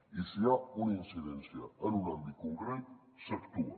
i si hi ha una incidència en un àmbit concret s’actua